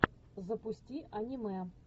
запусти аниме